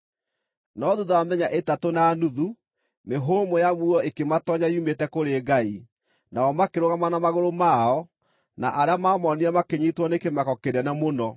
No thuutha wa mĩthenya ĩtatũ na nuthu, mĩhũmũ ya muoyo ĩkĩmatoonya yumĩte kũrĩ Ngai, nao makĩrũgama na magũrũ mao, na arĩa maamonire makĩnyiitwo nĩ kĩmako kĩnene mũno.